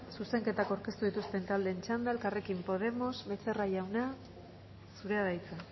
zuzenketak aurkeztu dituzten taldeen txanda elkarrekin podemos becerra jauna zurea da hitza